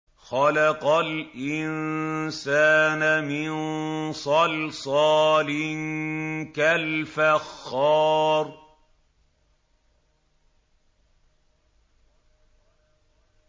خَلَقَ الْإِنسَانَ مِن صَلْصَالٍ كَالْفَخَّارِ